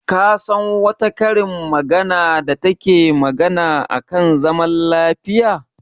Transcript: Ka san wata karin magana da take magana a kan zaman lafiya?